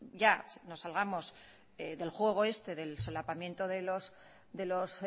ya nos salgamos del juego este del solapamiento de los